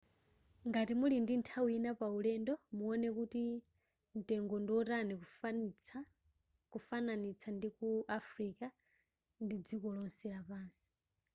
ngati muli ndi nthawi ina paulendo muone kuti mtengo ndiwotani kufananitsa ndiku afilika ndi dziko lonse lapansi